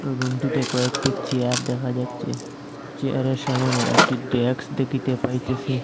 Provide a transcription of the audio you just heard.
রুমটিতে কয়েকটি চেয়ার দেখা যাচ্ছে চেয়ারের সামোনে একটি ড্যাস্ক দেখিতে পাইতেসি।